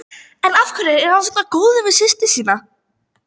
En af hverju er hann svona góður við systur sína?